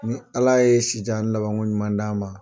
Ni Ala ye si jan ni labanko ɲuman d'an ma